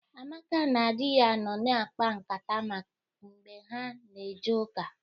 Amaka na di ya nọ na-akpa nkata mgbe ha na-eje ụka.